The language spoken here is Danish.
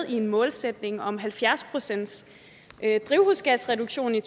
en målsætning om halvfjerds pcts drivhusgasreduktion i